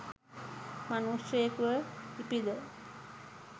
මනුෂ්‍යයකු ව ඉපිද